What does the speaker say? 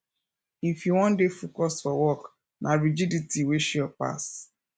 if yu wan dey focused for work na rigidity way sure pass